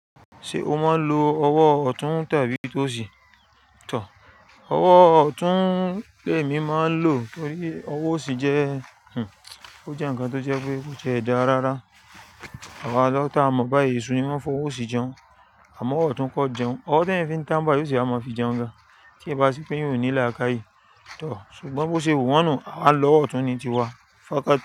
Ṣé o máa ń lo ọwọ́ ọ̀tún tàbí tó sì tọ̀? Ọwọ́ ọ̀tún lèmi máa ń lò torí ọwọ́ òsì jẹ́, o jẹ́ ǹkan tó jẹ́ pé kò tie dá rárá. Àwa lọ́jà tá a mọ̀ bá èyí sùn ni mọ́n fọwọ́ òsì jẹun, àmọ́ ọ̀tún kọ jẹun. Ọwọ́ ti ẹyan fi ń tà bá yóò se máa fi jẹun gan. Tie bá sepé eyan oní làkàyí tọ̀. Ṣùgbọ́n bóṣe wu wọ́n nuù, àwa nlọ́ ọwọ́ ọ̀tún ni ti wa. Fakatì.